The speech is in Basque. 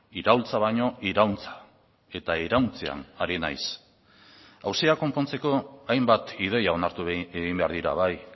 iraultza baino irauntza eta irauntzean ari naiz auzia konpontzeko ainbat ideia onartu egin behar dira bai